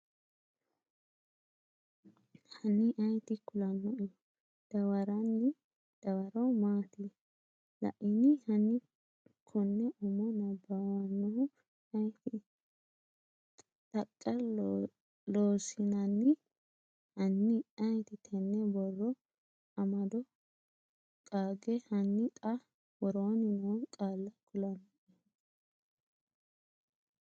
hanni ayeeti kulannoehu? dawarranni dawaro maati? Laini? Hanni konne umo nabbawannoehu ayeeti? Taqa Loossinanni Hanni ayeeti tenne borro amado qaage Hanni xa, woroonni noo qaalla kulannoehu?